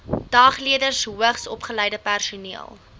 dagleerders hoogsopgeleide personeel